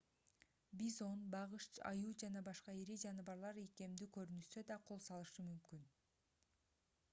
бизон багыш аюу жана башка ири жаныбарлар ийкемдүү көрүнүшсө да кол салышы мүмкүн